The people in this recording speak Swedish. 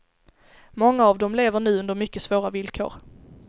Många av dem lever nu under mycket svåra villkor.